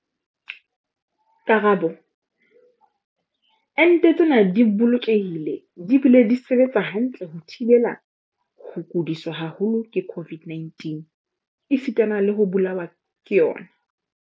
Karabo- Ente tsena di bolokehile di bile di sebetsa hantle ho thibela ho kudiswa haholo ke COVID-19 esitana le ho bolawa ke yona.